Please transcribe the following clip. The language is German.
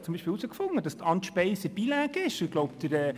Ich habe herausgefunden, dass Anne Speiser bilingue ist.